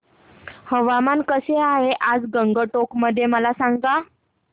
हवामान कसे आहे आज गंगटोक मध्ये मला सांगा